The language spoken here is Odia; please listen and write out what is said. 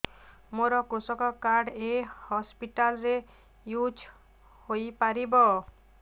ମୋର କୃଷକ କାର୍ଡ ଏ ହସପିଟାଲ ରେ ୟୁଜ଼ ହୋଇପାରିବ